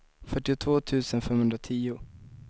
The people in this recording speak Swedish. fyrtiotvå tusen femhundratio